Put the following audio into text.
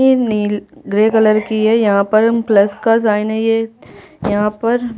ये निल grey colour की है यहाँ पर प्लस का साइन है ये यहाँ पर--